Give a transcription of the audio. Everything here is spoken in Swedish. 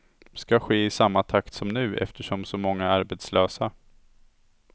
Ska ske i samma takt som nu eftersom så många är arbetslösa.